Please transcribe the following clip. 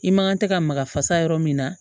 I man kan tɛ ka maga fasa yɔrɔ min na